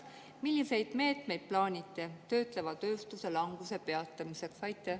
Milliseid meetmeid plaanite töötleva tööstuse languse peatamiseks?